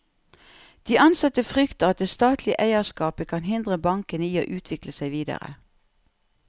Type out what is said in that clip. De ansatte frykter at det statlige eierskapet kan hindre bankene i å utvikle seg videre.